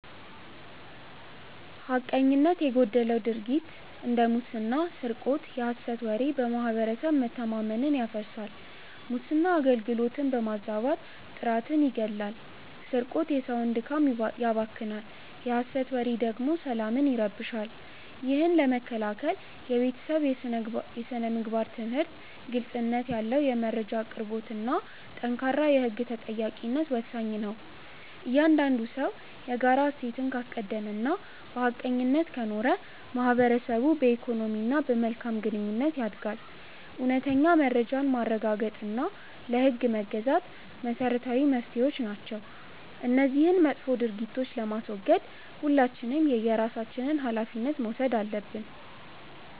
ሐቀኝነት የጎደለው ድርጊት እንደ ሙስና ስርቆት የሐሰት ወሬ በማህበረሰብ መተማመንን ያፈርሳል። ሙስና አገልግሎትን በማዛባት ጥራትን ይገድላል ስርቆት የሰውን ድካም ያባክናል የሐሰት ወሬ ደግሞ ሰላምን ይረብሻል። ይህን ለመከላከል የቤተሰብ ስነ-ምግባር ትምህርት፣ ግልጽነት ያለው የመረጃ አቅርቦትና ጠንካራ የህግ ተጠያቂነት ወሳኝ ናቸው። እያንዳንዱ ሰው የጋራ እሴትን ካስቀደመና በሐቀኝነት ከኖረ ማህበረሰቡ በኢኮኖሚና በመልካም ግንኙነት ያድጋል። እውነተኛ መረጃን ማረጋገጥና ለህግ መገዛት መሰረታዊ መፍትሄዎች ናቸው። እነዚህን መጥፎ ድርጊቶች ለማስወገድ ሁላችንም የየራሳችንን ሃላፊነት መውሰድ አለብን።